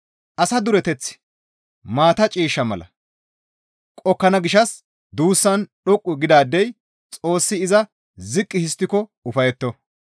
Asa dureteththi maata ciishsha mala qokkana gishshas duussan dhoqqu gidaadey Xoossi iza ziqqi histtiko ufayetto.